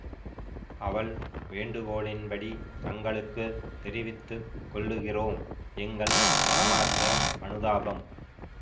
அவள் வேண்டுகோளின்படி தங்களுக்கு தெரிவித்து கொள்ளுகிறோம் எங்கள் மனமார்ந்த அனுதாபம்